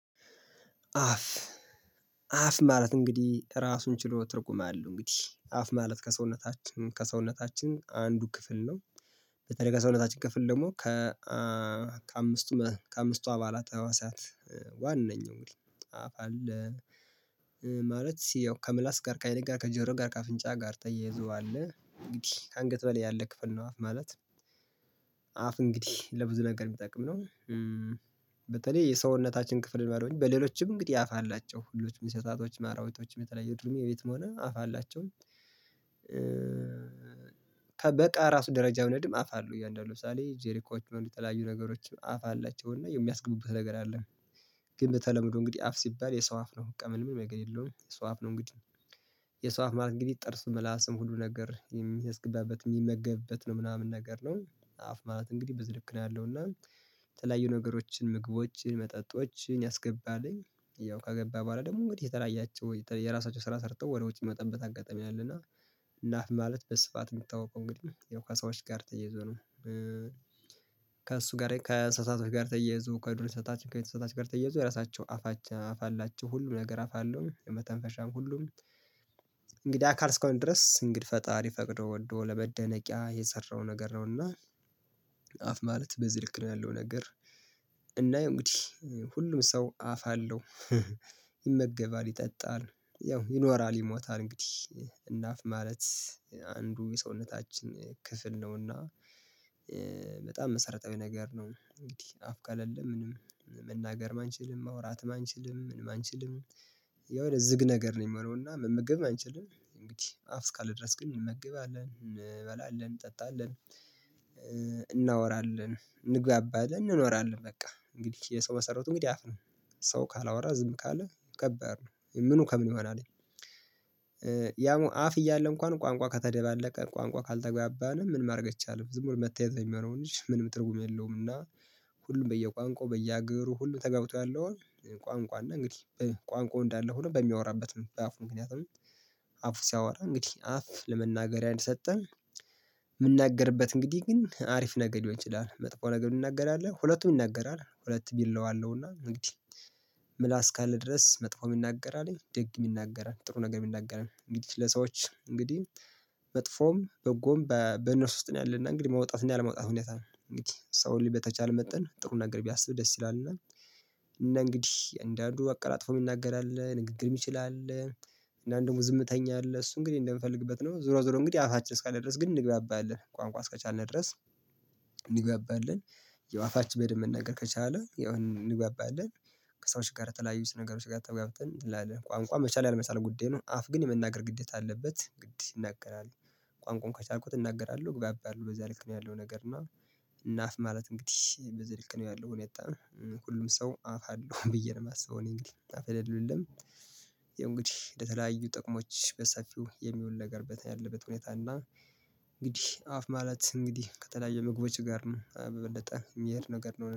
አፍ አፍ ማለት እንግዲህ ራሱን ችሎ ትርጉም አለው እንግዲህ አፍ ማለት ከሰውነታችን ከሰውነታችን አንዱ ክፍል ነው። በተለይ ከሰውነታችን ክፍል ደግሞ ከ ከአምስቱ ከአምስቱ አባላት ህዋሳት ዋነኛው አፍ አለ። ማለት ያው ከምላስ ጋር ከአይን ጋር ከጆሮ ጋር ከአፍንጫ ጋር ተያይዞ አለ እንግዲህ ከአንገት በላይ ያለ ክፍል ነው። አፍ ማለት አፍ እንግዲህ ለብዙ ነገር የሚጠቅም ነው። በተለይ የሰውነታችን ክፍል ባለውኝ በሌሎችም እንግዲህ አፍ አላቸው ሁሉም እንስሳቶች አራዊቶችም የተለያዩ ዱርዬ የቤትም ሆነ አፍ አላቸው። ከበቃ ራሱ ደረጃ የሆነ እድም አፍ አለው እያንዳንዱ ሳሌ ጄሪኮች የሆኑ የተለያዩ ነገሮችም አፍ አላቸው እና የሚያስገቡበት ነገር አለ። ግን በተለምዶ እንግዲህ አፍ ሲባል የሰው አፍ ነው በቃ ምንም ነገር የለውም የሰው አፍ ነው እንግዲህ። የሰው አፍ ማለት እንግዲህ ጥርሱ ምላስም ሁሉ ነገር የሚያስገባበት የሚመገብበት ነው ምናምን ነገር ነው። አፍ ማለት እንግዲህ በዚልክ ነው ያለው እና የተለያዩ ነገሮችን ምግቦችን መጠጦችን ያስገባልኝ ያው ከገባ በኋላ ደግሞ እንግዲህ የተለያያቸው የራሳቸው ስራ ሰርተው ወደ ውጭ ሚወጣበት አጋጣሚ አለና። እና አፍ ማለት በስፋት የሚታወቀው እንግዲህ ያው ከሰዎች ጋር ተያይዞ ነው። ከእሱ ጋር ከእንስሳቶች ጋር ተያይዞ ከዱር እንስሳት ከቤት እንሰሳ ጋር ተያይዞ የራሳቸውን አፍ አላችሁ ሁሉ ነገር አፍ አለው የመተንፈሻም ሁሉም እንግዲያ አካል እስከሆነ ድረስ እንግድሂ ፈጣሪ ፈቅዶ ወዶ ለመደበቂያ የሰራው ነገር ነውና። አፍ ማለት በዚህ ልክ ነው ያለው ነገር እናየው እንግዲህ ሁሉም ሰው አፍ አለው። ይመገባል ይጠጣል ያው ይኖራል ይሞታል እንግዲህ እና አፍ ማለት አንዱ የሰውነታችን ክፍል ነውና። በጣም መሰረታዊ ነገር ነው እንግዲህ አፍ ከለለም ምንም መናገር አንችልም ማውራትም አንችልም ምንም አንችልም። የሆነ ዝግ ነገር ነው የሚሆነው እና መመገብም አንችልም እንግዲህ አፍ እስካለ ድረስ ግን እንመግባለን እንበላለን እንጠጣለን እንግባባለን እንኖራለን በቃ እንግዲህ የሰው መሰረቱ እንግዲህ አፍ ነው። ሰው ካላወራ ዝም ካለ ከባድ ነው ምኑ ከምን ይሆናል። ያምሆኖ አፍ እያለ እንኳን ቋንቋ ከተደባለቀ ቋንቋ ካልተግባባነ ምንም ማድረግ አይቻልም ዝም ብሎ መታየት ነው የሚሆነውን እንጂ ምንም ትርጉም የለውም። እና ሁሉም በየቋንቋው በየሀገሩ ሁሉም ተግባብቶ ያለው ቋንቋው እና እንግዲህ ቋንቋው እንዳለ ሆኖ በሚያወራበት ነው በአፉ ምክንያት ነው። አፉ ሲያወራ እንግዲህ አፍ ለመናገሪያ እንደሰጠ የምናገርበት እንግዲህ ግን ሀሪፍ ነገር ሊሆን ይችላል መጥፎ ነገር ሚናገር አለ ሁለቱም ይናገራል ሁለትም ይለዋለውና እንግዲህ። ምላስ እስካለ ድረስ መጥፎ የሚናገር አለ ደግ የሚናገር አለ ጥሩ ነገር የሚናገር አለ እንግዲህ ለሰዎች እንግዲህ መጥፎም በጎም በእነርሱ ውስጥ ነው ያለና እንግዲህ መውጣትና ያለመውጣት ሁኔታ ነው እንግዲህ ሰው ልጅ በተቻለ መጠን ጥሩ ነገር ቢያስብ ደስ ይላልና። እና እንግዲህ አንዳንዱ አቀላጥፎ የሚናገር አለ ንግግር ሚችል አለ። እና እንደውም ዝምተኛ አለ እሱ እንግዲህ እንደምፈልግበት ነው ዙሮ ዙሮ እንግዲህ አፋችን እስካለ ድረስ ግን እንግባባለን ቋንቋ እስከቻልን ድረስ። እንግባባለን ያው አፋችን በደንብ መናገር ከቻለ የሆን እንግባባለን። ከሰዎች ጋር የተለያዩ ነገሮች ጋር ተጋብተን ትላለህ ቋንቋ መቻል ያለመቻል ጉዳይ ነው አፍ ግን የመናገር ግዴታ አለበት ግድ ይናገራል። ቋንቋውን ከቻልኩት እናገራለሁ እግባባለሁ በዛ ልክ ነው ያለው ነገር እና። እና አፍ ማለት እንግዲህ በዚህ ልክ ነው ያለው። ሁሉም ሰው አፍ አለው ብዬ ነው የማስበው እኔ እንግዲህ አፍ የሌለው የለም። ያው እንግዲህ ለተለያዩ ጥቅሞች በሰፊው የሚውል ነገር ያለበት ሁኔታ እና እንግዲህ አፍ ማለት እንግዲህ ከተለያዩ ምግቦች ጋር ነው በበለጠ የሚሄድ ነገር ነው